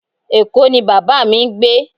Eko ni baba mi ngbe